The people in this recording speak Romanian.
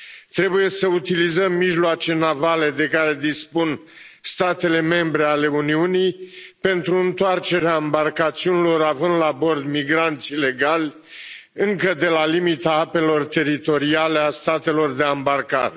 Trebuie să utilizăm mijloace navale de care dispun statele membre ale Uniunii pentru întoarcerea ambarcațiunilor având la bord migranți ilegali încă de la limita apelor teritoriale a statelor de ambarcare.